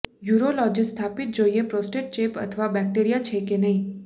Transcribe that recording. urologist સ્થાપિત જોઈએ prostate ચેપ અથવા બેક્ટેરિયા છે કે નહીં